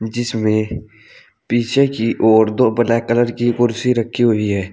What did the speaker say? जिसमें पीछे की ओर दो ब्लैक कलर की कुर्सी रखी हुई है।